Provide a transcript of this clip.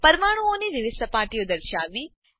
પરમાણુઓની વિવિધ સપાટીઓ દર્શાવવી